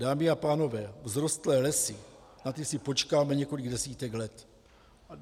Dámy a pánové, vzrostlé lesy, na ty si počkáme několik desítek let.